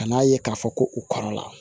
Kan'a ye k'a fɔ ko u kɔrɔla